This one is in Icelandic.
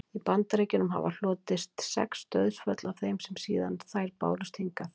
í bandaríkjunum hafa hlotist sex dauðsföll af þeim síðan þær bárust þangað